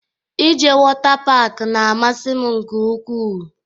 Ị jee wota pak n'amasi m nke ukwuu